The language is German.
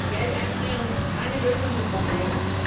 Geld einfrieren ist aber keine Lösung der Probleme.